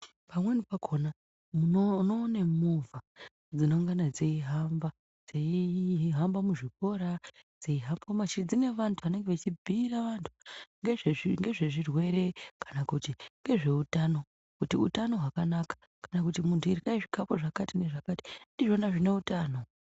Pamweni pakhona unoona movha, dzinengane dzei hamba, dzeihamba muzvikora, dzeihamba mumanjira dzine vantu vanenge vechibhiira vantu ngezvezvirwere, kana kuti ngezveutano, kana kuti utano hwakanaka, kana kuti muntu iryai zvikafu zvakati nezvakati ndizvona zvine utano.